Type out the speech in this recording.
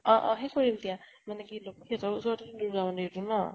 অ অ সেই কৰিম দিয়া মানে কি লক্ষী হতৰ ওচৰতে দুৰ্গা মন্দিৰতো ন?